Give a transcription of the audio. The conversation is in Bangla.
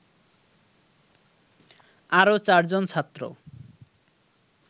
আরও চারজন ছাত্র